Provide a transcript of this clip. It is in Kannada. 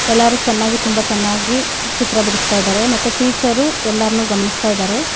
ಎಲ್ಲಾರು ಚೆನ್ನಾಗಿ ತುಂಬಾ ಚೆನ್ನಾಗಿ ಚಿತ್ರ ಬಿಡಸ್ತಾಇದಾರೆ ಮತ್ತೆ ಟೀಚರು ಎಲ್ಲಾರ್ನು ಗಮನಿಸ್ತಾಇದಾರೆ.